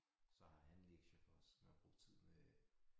Så har han lektier for så skal man bruge tid med